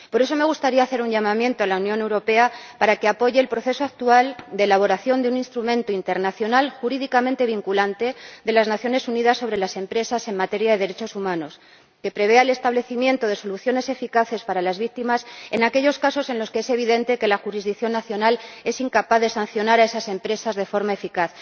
Por eso me gustaría hacer un llamamiento a la Unión Europea para que apoye el proceso actual de elaboración de un instrumento internacional, jurídicamente vinculante, de las Naciones Unidas para las empresas en materia de derechos humanos, que prevea el establecimiento de soluciones eficaces para las víctimas en aquellos casos en los que es evidente que la jurisdicción nacional es incapaz de sancionar a esas empresas de forma eficaz.